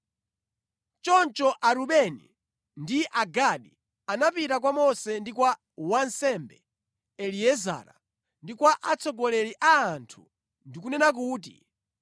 Choncho Arubeni ndi Agadi anapita kwa Mose ndi kwa wansembe Eliezara ndi kwa atsogoleri a anthu ndi kunena kuti,